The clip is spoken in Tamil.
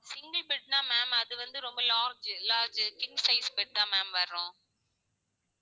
அது வந்து ரொம்ப large large king size bed தா ma'am வரும்.